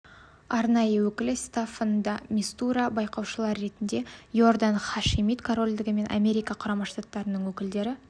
арнайы өкілі стаффан де мистура байқаушылар ретіндегі иордан хашимит корольдігі мен америка құрама штаттарының өкілдері